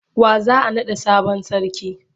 Wa za a naɗa sabon sarki?